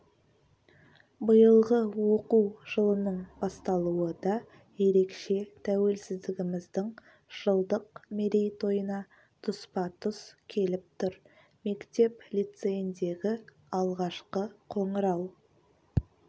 биылғы оқу жылының басталуы да ерекше тәуелсіздігіміздің жылдық мерейтойына тұспа тұс келіп тұр мектеп-лицейіндегі алғашқы қоңырау